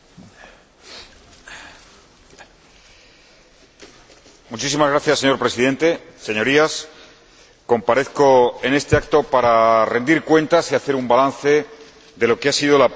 Señor Presidente, Señorías, comparezco en este acto para rendir cuentas y hacer un balance de lo que ha sido la Presidencia rotatoria española en este semestre.